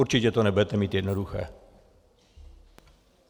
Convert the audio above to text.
Určitě to nebudete mít jednoduché.